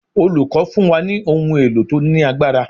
Olùkọ́ fún wa ní ohun èlò tí ó ní agbára.